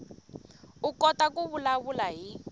u kota ku vulavula hi